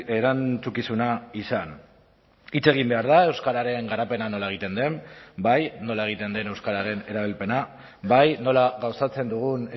erantzukizuna izan hitz egin behar da euskararen garapena nola egiten den bai nola egiten den euskararen erabilpena bai nola gauzatzen dugun